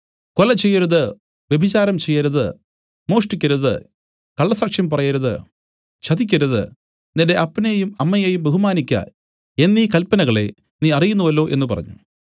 കൊല ചെയ്യരുത് വ്യഭിചാരം ചെയ്യരുത് മോഷ്ടിക്കരുത് കള്ളസാക്ഷ്യം പറയരുത് ചതിക്കരുത് നിന്റെ അപ്പനെയും അമ്മയെയും ബഹുമാനിയ്ക്ക എന്നീ കല്പനകളെ നീ അറിയുന്നുവല്ലോ എന്നു പറഞ്ഞു